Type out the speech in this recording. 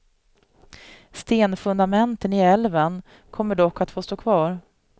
Stenfundamenten i älven kommer dock att få stå kvar.